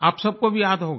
आप सबको भी याद होगा